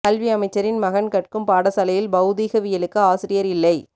கல்வி அமைச்சரின் மகன் கற்கும் பாடசாலையில் பௌதீகவியலுக்கு ஆசிரியா் இல்லை